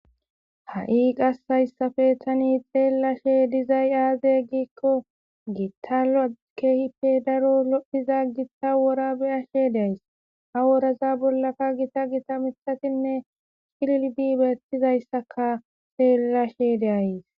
Ha'i qasayssafe tani xeellashe dizay aazey giikko gitala keehife daro lophiza githa wora beyashe deays ha woraza bollaka gita gita mitatinne shillbi beettizayssaka xeellashe deayys.